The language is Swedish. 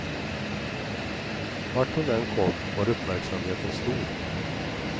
Vart hon än kom var uppmärksamheten stor.